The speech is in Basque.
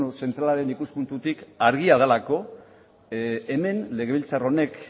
zentralaren ikuspuntutik argia delako legebiltzar honek